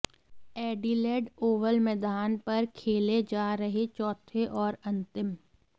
Adelaide Oval मैदान पर खेले जा रहे चौथे और अंतिम